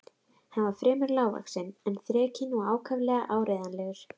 Hann var fremur lágvaxinn en þrekinn og ákaflega áreiðanlegur.